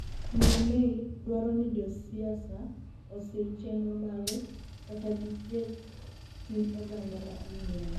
miyo May dwaro ni josiasa osir chenro mare kata giketh chuny oganda ma England